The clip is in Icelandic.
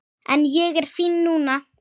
En ég er fín núna.